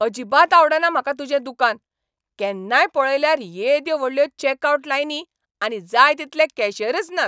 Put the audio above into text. अजिबात आवडना म्हाका तुजें दुकान, केन्नाय पळयल्यार येद्यो व्हडल्यो चेकआवट लायनी आनी जाय तितले कॅशियरच नात.